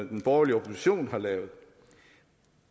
den borgerlige opposition har lavet